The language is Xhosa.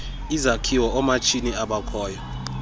izakhiwo oomatshini abakhoyo